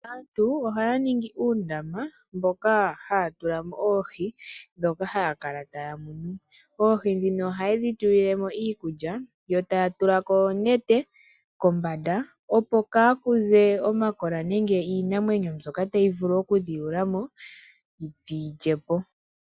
Aantu ohaya ningi uundama mboka haya tula mo oohi dhoka haya kala taya munu. Oohi dhino ohaye dhi tulile mo iikulya yo taya tulako oonete kombanda, opo ka ku ze omakola nenge iinamwenyo mbyoka tayi vulu oku dhi yuula mo dhi yi lye po.